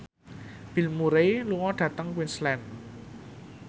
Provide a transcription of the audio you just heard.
Bill Murray lunga dhateng Queensland